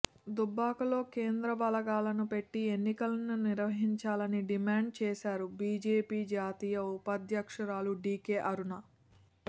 దుబ్బాకలో కేంద్ర బలగాలను పెట్టి ఎన్నికలను నిర్వహించాలని డిమాండ్ చేశారు బీజేపీ జాతీయ ఉపాధ్యక్షురాలు డీకే అరుణ